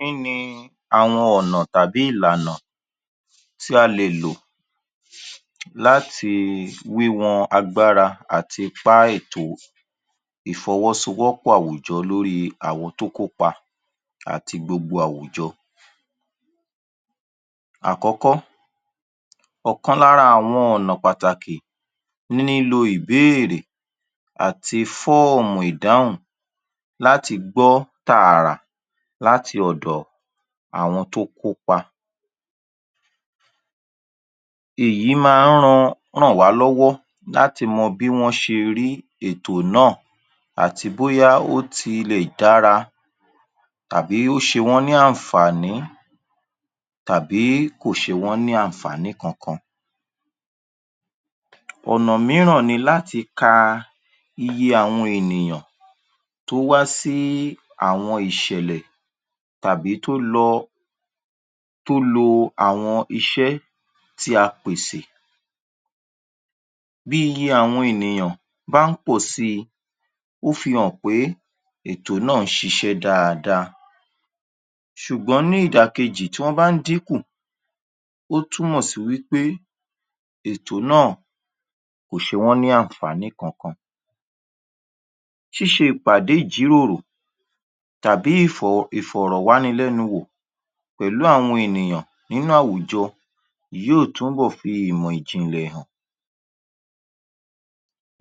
Kí ni àwọn ọ̀nà tàbí ìlànà tí a lè lò láti wíwọn agbára àti ipá ètó ìfọwọ́sowọ́pọ̀ àwùjọ lórí àwọn tó kópa àti gbogbo àwùjọ. Àkọ́kọ́, ọ̀kan lára àwọn ọ̀nà pàtàkì nílo ìbéèrè àti fọ́ọ̀mù ìdáhùn láti gbọ́ tààrà láti ọ̀dọ̀ àwọn tó kópa èyí máa ń ran máa ń ràn wá lọ́wọ́ láti mọ bí wọ́n ṣe rí ètò náà àti bóyá ó ti lè dára tàbí ó ṣe wọ́n ní àǹfàní tàbí kò ṣe wọ́n ní àǹfàní kankan. ọ̀nà mìíràn ni láti ka iye àwọn ènìyàn tó wá sí àwọn ìṣẹ̀lẹ̀ tàbí tó lọ tó lo àwọn iṣẹ́ tí a pèsè bí iye àwọn ènìyàn bá ń pọ̀ si, ó fi hàn pé ètò náà ń ṣiṣẹ́ dáadáa ṣùgbọ́n ní ìdà kejì tí wọ́n bá ń dín kù ó túnmọ̀ sí wí pé ètò náà kò ṣe wọ́n ní àǹnfàní kankan. ṣíṣe ìpàdé ìjíròrò tàbí ìfọ̀rọ̀wánilẹ́nuwò pẹ̀lú àwọn ènìyàn nínú àwùjọ yóò túbọ̀ fi ìmọ̀ ìjìnlẹ̀ hàn.